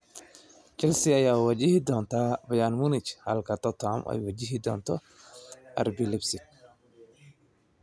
Chelsea ayaa wajihi doonta Bayern Munich halka Tottenham ay wajihi doonto RB Leipzig.